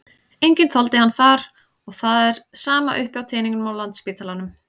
Enginn þoldi hann þar og það er sama uppi á teningnum á Landspítalanum.